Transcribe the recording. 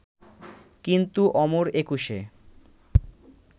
কিন্তু অমর একুশে